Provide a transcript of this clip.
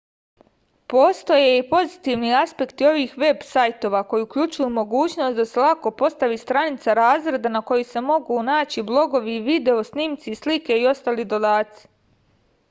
postoje i pozitivni aspekti ovih veb sajtova koji uključuju mogućnost da se lako postavi stranica razreda na kojoj se mogu naći blogovi video snimci slike i ostali dodaci